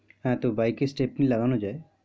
হ্যাঁ, তো bike এর stepney লাগানো যায়,